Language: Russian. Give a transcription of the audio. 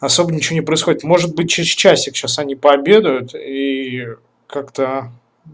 особо ничего не происходит может быть через часик сейчас они пообедают и как-то